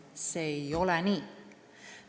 See ei ole nii.